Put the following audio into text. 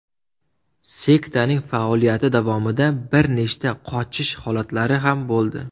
Sektaning faoliyati davomida bir nechta qochish holatlari ham bo‘ldi.